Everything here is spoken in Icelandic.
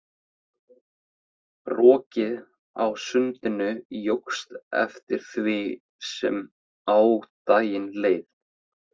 Rokið á sundinu jókst eftir því sem á daginn leið.